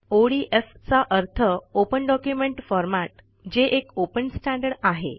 ODF चा अर्थ open document format जे एक ओपन स्टँडर्ड आहे